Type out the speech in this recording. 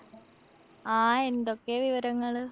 ആ എന്തൊക്കെയാ വിവരങ്ങള്?